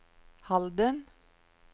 Halden